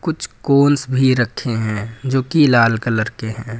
कुछ कोंस भी रखें हैं जो कि लाल कलर के हैं।